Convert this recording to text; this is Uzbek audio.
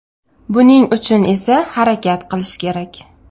Buning uchun esa harakat qilish kerak.